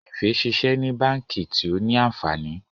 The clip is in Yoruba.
Efe ṣiṣẹ ní bánkì tio ní ànfàní.